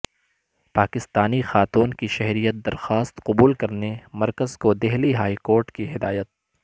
پاکستانی خاتون کی شہریت درخواست قبول کرنے مرکز کو دہلی ہائیکورٹ کی ہدایت